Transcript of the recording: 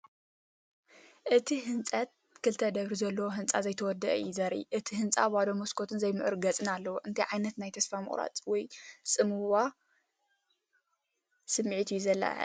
እቲ ህንፀት ክልተ ደብሪ ዘለዎ ህንፃ ዘይተወድአ እዩ ዘርኢ። እቲ ህንጻ ባዶ መስኮትን ዘይምዕሩይ ገጽን ኣለዎ፣ እንታይ ዓይነት ናይ ተስፋ ምቑራጽ ወይ ጽምዋ ስምዒት እዩ ዝለዓዓል?